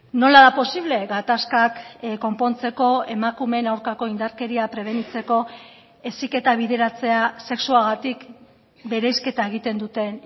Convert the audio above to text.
nola da posible gatazkak konpontzeko emakumeen aurkako indarkeria prebenitzeko heziketa bideratzea sexuagatik bereizketa egiten duten